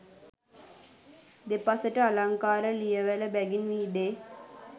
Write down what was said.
දෙපසට අලංකාර ලියවැල බැගින් විහිදේ